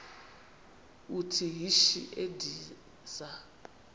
uthi yishi endiza